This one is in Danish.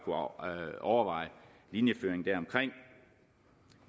overveje linjeføringen deromkring